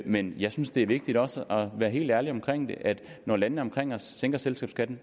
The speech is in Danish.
men jeg synes det er vigtigt også at være helt ærlig omkring at når landene omkring os sænker selskabsskatten